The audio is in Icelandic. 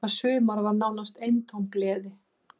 Það sumar var nánast eintóm gleði.